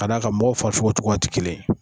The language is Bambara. Ka d'a ka mɔgɔw farikolo cogoya tɛ kelen ye